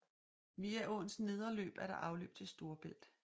Via åens nedre løb er der afløb til Storebælt